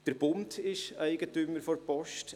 Der Bund ist Eigentümer der Post.